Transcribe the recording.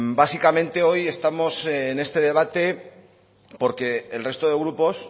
básicamente hoy estamos en este debate porque el resto de grupos